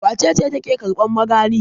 Wace ce take karban magani?